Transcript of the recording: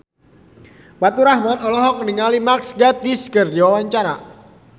Faturrahman olohok ningali Mark Gatiss keur diwawancara